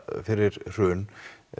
fyrir hrun